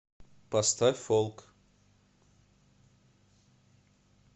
поставь фолк